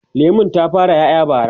lemun ta fara ƴaƴa bara